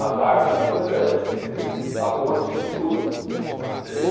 as árvores andantes, quer dizer, a ponte de luz. E a gente